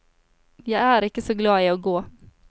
Jeg er ikke å glad i å gå.